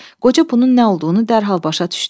Qoca bunun nə olduğunu dərhal başa düşdü.